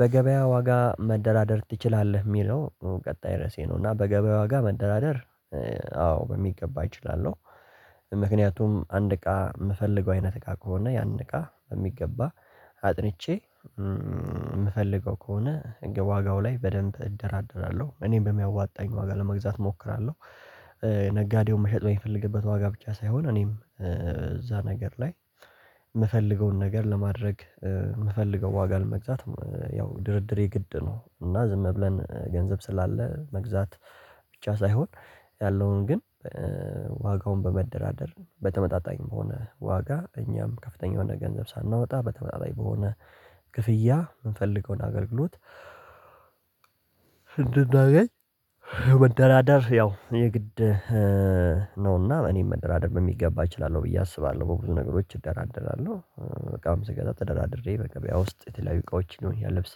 በገበያ ዋጋ መደራደር ትችላለህ የሚለው ቀጣይ ርዕሴ ነው እና በገበያ ዋጋ መደራደር አዎ በሚገባ አይችልም። ምክንያቱም አንድ እቃ የምፈልገው አይነት እቃ ከሆነ ያን እቃ በሚገባ አጥንቼ የምፈልገው ከሆነ ዋጋው ላይ በደንብ እደራደራለሁ እኔም በሚያዋጣኝ ዋጋ ለመግዛት እሞክራለሁ። ነጋዴውን መሸጥ በሚፈልግበት ዋጋ ብቻ ሳይሆን እኔም እዛ ነገር ላይ። የምፈልገውን ነገር ለማድረግ የምፈልገው ዋጋ ለመግዛት ያው ድርድር ድርድሬ ግድ ነው እና ዝም ብለን ገንዘብ ስላለ መግዛት ብቻ ሳይሆን ያለውን ግን ዋጋውን በመደራደር በተመጣጣኝም በሆነ ዋጋ እኛም ከፍተኛ የሆነ ገንዘብ ሳናወጣ በተመሳሳይ በሆነ ክፍያ የምንፈልገውን አገልግሎት። እንደናገኝ ምድራድር ያው የግድ ነውና እኔም መደራደር በሚገባ እችላለሁ ብዬ አስባለሁ። በብዙ ነገሮች እደራደራለሁ በቃም ስገዳ ተደራድሬ በገበያ ውስጥ የተለያዩ እቃዎችን ሊሆን ያለብስ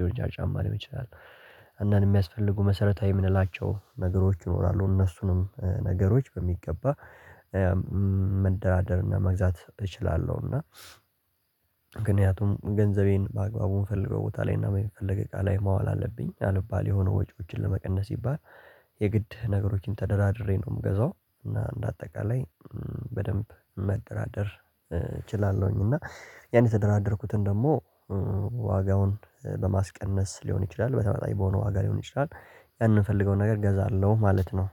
የወርጃ ጫማ ሊሆን ይችላል። አንዳንድ የሚያስፈልጉ መሰረታዊ የምንላቸው ነገሮች ይኖራሉ እነሱንም ነገሮች በሚገባ መደራደርና መግዛት እችላለሁ። እና ምክንያቱም ገንዘቤን በአግባቡ የምፈልገው ቦታ ላይ እና የሚፈልግ እቃ ላይ ማዋል አለብኝ አልባል የሆነ ወጪዎችን ለመቀነስ ይባል የግድ ነገሮችን ተደራድሬ ነው። የምገዛው እና እንደ አጠቃላይ በደንብ መደራደር እችላለሁኝ። እና ያን የተደራደርኩትን ደግሞ ዋጋውን በማስቀነስ ሊሆን ይችላል በተመጣኝ በሆነ ዋጋ ሊሆን ይችላል። ያንንፈልገውን ነገር እገዛለሁ ማለት ነው